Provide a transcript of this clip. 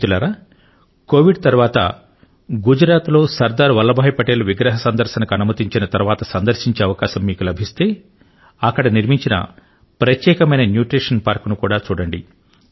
మిత్రులారా కోవిడ్ తరువాత గుజరాత్ లో సర్ దార్ వల్లభ్ భాయి పటేల్ విగ్రహ సందర్శనకు అనుమతించిన తరువాత సందర్శించే అవకాశం మీకు లభిస్తే అక్కడ నిర్మించిన ప్రత్యేకమైన న్యూట్రిశన్ పార్కు ను కూడా చూడండి